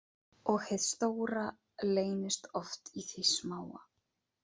Og hið stóra leynist oft í því smáa